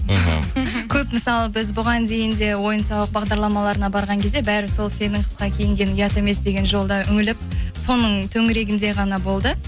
мхм көп мысалы біз бұған дейін де ойын сауық бағдарларына барған кезде бәрі сол сенің қысқа кигенің ұят емес деген жолда үңіліп соңын төңірегінде ғана болды